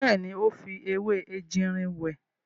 Bẹ́ẹ̀ni, ó fi ewé ejìrìn wẹ̀.